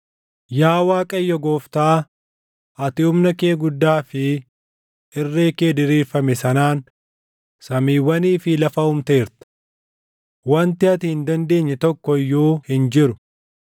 “Yaa Waaqayyo Gooftaa, ati humna kee guddaa fi irree kee diriirfame sanaan samiiwwanii fi lafa uumteerta. Wanti ati hin dandeenye tokko iyyuu hin jiru.